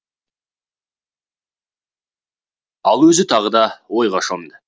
ал өзі тағы да ойға шомды